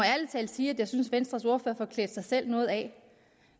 sige at jeg synes at venstres ordfører får klædt sig selv noget af